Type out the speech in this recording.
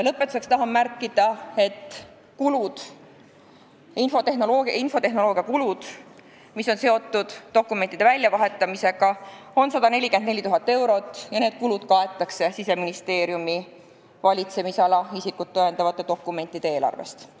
Lõpetuseks märgin, et infotehnoloogiakulud, mis on seotud dokumentide väljavahetamisega, on 144 000 eurot ja need kaetakse Siseministeeriumi valitsemisala isikut tõendavate dokumentide eelarvest.